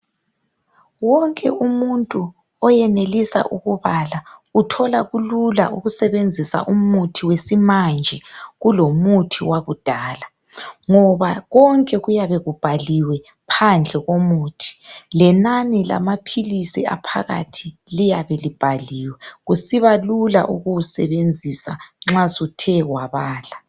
Wonke umuntu oyenelisa ukubala uthola kulula ukusebenzisa umuthi wesimanje kulomuthi wakudala ngoba konke kuyabe kubhaliwe phandle komuthi lenani lamaphilisi aphakathi liyabe libhaliwe kusiba lula ukuwusebenzisa nxa suthe wabala.